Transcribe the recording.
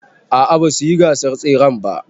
A a basu yi gasar tseren ba.